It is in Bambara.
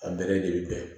A bɛrɛ de bɛ bɛn